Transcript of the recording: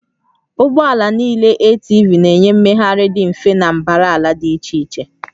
Ụgbọ ala niile ATV na-enye mmegharị dị mfe na mbara ala dị iche iche